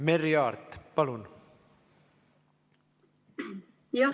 Merry Aart, palun!